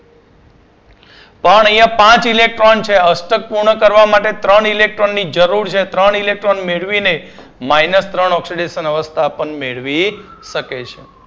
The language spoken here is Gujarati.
પણ અહીંયા પાંચ electron છે અષ્ટક પૂર્ણ કરવા માટે ત્રણ electron ની જરૂર છે ત્રણ electron મેળવીને minus ત્રણ oxidation અવસ્થા પણ મેળવી શકે છે